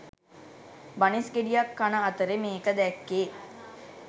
බනිස් ගෙඩියක් කන අතරෙ මේක දැක්කෙ